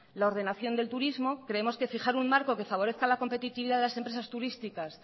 la ordenación del turismo creemos que fijar un marco que favorezca la competitividad de las empresas turísticas